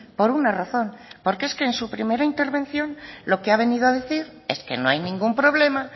por una razón porque es que en su primera intervención lo que ha venido a decir es que no hay ningún problema